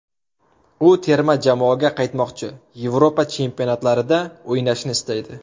U terma jamoaga qaytmoqchi, Yevropa chempionatlarida o‘ynashni istaydi.